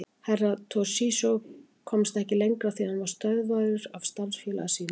Herra Toshizo komst ekki lengra því hann var stöðvaður af starfsfélaga sínum.